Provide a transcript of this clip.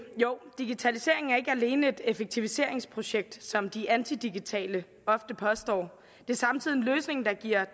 jo digitaliseringen er ikke alene et effektiviseringsprojekt som de antidigitale ofte påstår det er samtidig en løsning der giver